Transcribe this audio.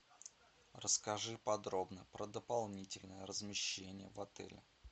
расскажи подробно про дополнительное размещение в отеле